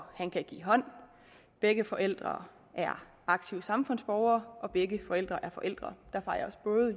give hånd begge forældre er aktive samfundsborgere begge forældre er forældre